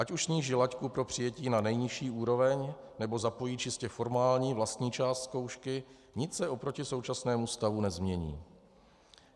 Ať už sníží laťku pro přijetí na nejnižší úroveň, nebo zapojí čistě formální vlastní část zkoušky, nic se oproti současnému stavu nezmění.